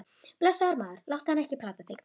Blessaður, maður, láttu hana ekki plata þig.